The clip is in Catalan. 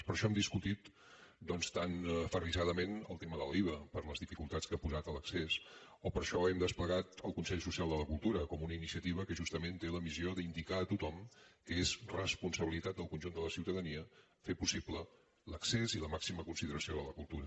per això hem discutit doncs tan aferrissadament el tema de l’iva per les dificultats que ha posat a l’accés o per això hem desplegat el consell social de la cultura com una iniciativa que justament té la missió d’indicar a tothom que és responsabilitat del conjunt de la ciutadania fer possible l’accés i la màxima consideració de la cultura